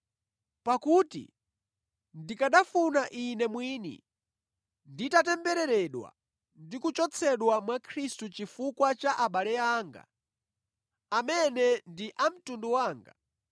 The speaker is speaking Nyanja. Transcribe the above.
Pakuti ndikanafuna ine mwini nditatembereredwa ndi kuchotsedwa mwa Khristu chifukwa cha abale anga, amene ndi a mtundu wanga,